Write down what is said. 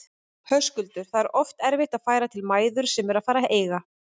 Höskuldur: Það er oft erfitt að færa til mæður sem eru að fara að eiga?